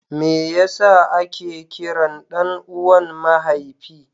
meye a ke kiran ɗan uwan mahaifi?